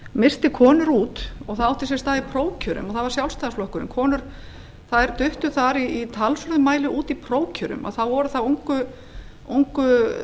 missti konur út og það átti sér stað í prófkjörum það var sjálfstæðisflokkurinn þær duttu þar í talsverðum mæli út í prófkjörum að þá voru það ungu